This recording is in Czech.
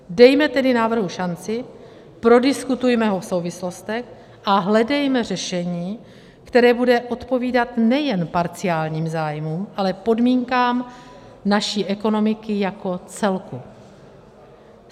Dejme tedy návrhu šanci, prodiskutujme ho v souvislostech a hledejme řešení, které bude odpovídat nejen parciálním zájmům, ale podmínkám naší ekonomiky jako celku.